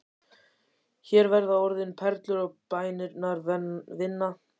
Hér verða orðin perlur og bænirnar vinna.